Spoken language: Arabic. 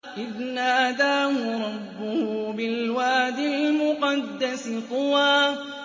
إِذْ نَادَاهُ رَبُّهُ بِالْوَادِ الْمُقَدَّسِ طُوًى